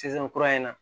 Sisan kura in na